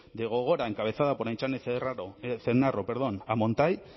de gogora encabezada por aintzane ezenarro a montai